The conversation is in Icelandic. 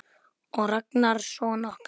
Og Ragnar son okkar.